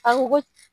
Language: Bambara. A ko ko